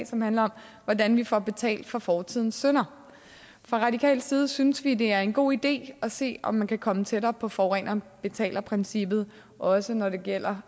som handler om hvordan vi får betalt for fortidens synder fra radikal side synes vi det er en god idé at se om man kan komme tættere på forureneren betaler princippet også når det gælder